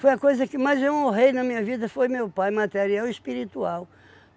Foi a coisa que mais eu honrei na minha vida foi meu pai, material e espiritual.